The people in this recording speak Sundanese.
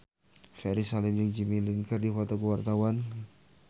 Ferry Salim jeung Jimmy Lin keur dipoto ku wartawan